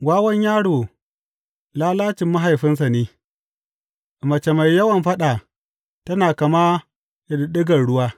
Wawan yaro lalacin mahaifinsa ne, mace mai yawan faɗa tana kama da ɗiɗɗigar ruwa.